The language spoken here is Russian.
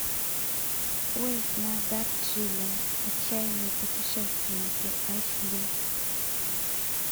поезд на дарджилинг отчаянные путешественники эйч ди